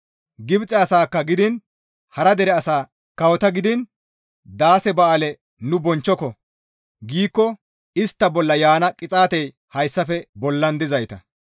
Gibxe asaakka gidiin hara dere asa kawota gidiin, «Daase ba7aale nu bonchchoko» giikko istta bolla yaana qixaatey hayssafe bollan dizayta;